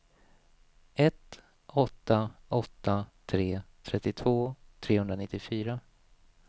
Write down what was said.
ett åtta åtta tre trettiotvå trehundranittiofyra